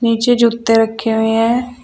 नीचे जूते रखे हुए हैं।